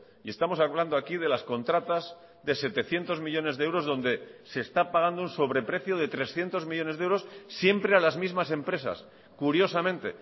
y estamos hablando aquí de las contratas de setecientos millónes de euros donde se está pagando un sobreprecio de trescientos millónes de euros siempre a las mismas empresas curiosamente